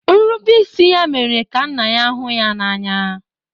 Nrubeisi ya mere ka nna ya hụ ya n'anya.